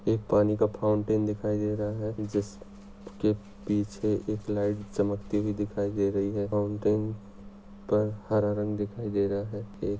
एक पानी का फाउंटेन दिखाई दे रहा है जिस के पीछे एक लाईट चमकती हुई दिखाई दे रही है। फाउंटेन पर हरा रंग दिखाई दे रहा है।